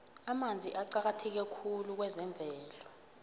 amanzi aqakatheke khulu kwezemvelo